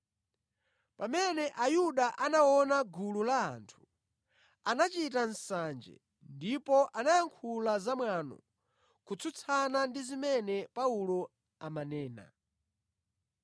Pamene Ayuda anaona gulu la anthu, anachita nsanje ndipo anayankhula zamwano kutsutsana ndi zimene Paulo amanena.